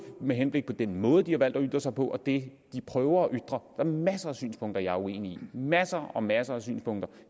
med henblik på den måde de har valgt at udtrykke sig på og det de prøver at ytre er masser af synspunkter jeg er uenig i masser og masser af synspunkter